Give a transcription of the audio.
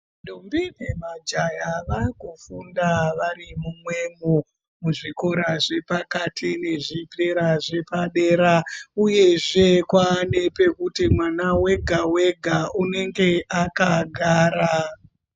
Ndombi namajaya vakufunda vari mumwemo muzvikora zvepakati nezvikora zvepadera uyezve kwane pekuti mwana wega wega unenge akagara.